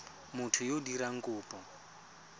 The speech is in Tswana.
motho yo o dirang kopo